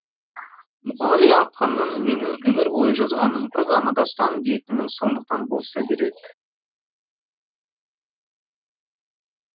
мұқағали ақынның менің өмір бойы жазғаным бір ғана дастан дейтіні сондықтан болса керек